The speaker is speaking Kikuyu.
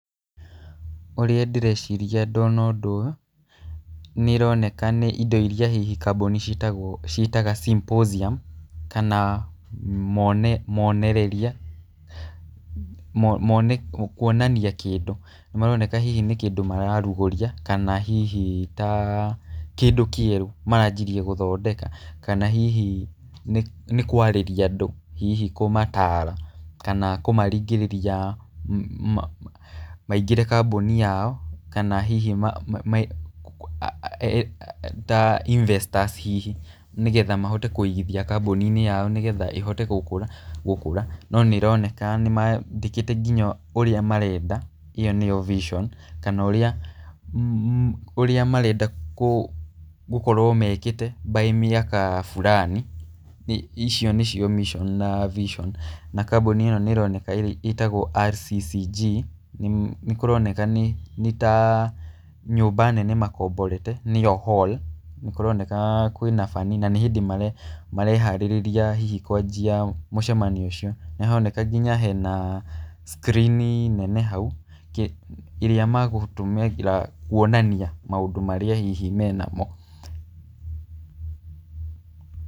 Ũrĩa ndĩreciria ndona ũndũ ũyũ, nĩ ĩroneka nĩ indo iria hihi kambũni citagwo ciĩtaga symposium kana monereria kuonania kĩndũ. Nĩ maroneka hihi nĩ kĩndũ mararugũria kana hihi ta kĩndũ kĩerũ maranjirie gũthondeka, kana hihi nĩ kwarĩria andũ hihi kũmataara, kana kũmaringĩrĩria maingĩre kambũni yao kana hihi ta investors hihi nĩgetha mahote kũigithia kambũni-inĩ yao nĩgetha ĩhote gũkũra. No nĩ ĩroneka nĩmandĩkĩte kingya ũrĩa marenda, ĩyo nĩyo vision kana ũrĩa ũrĩa marenda gũkorwo mekĩte by mĩaka burani, icio nĩcio mission na vision na kambũni ĩno nĩĩroneka ĩrĩa ĩtagwo RCCG nĩkũroneka nĩ ta nyũmba nene makomborete nĩyo hall nĩ kũroneka kwĩna bani na nĩyo mareharĩrĩria hihi kwanjia mũcemanio ũcio. Nĩ haroneka nginya hena screen i nene hau ĩrĩa magũtũmagĩra kuonania maũndũ marĩa hihi menamo.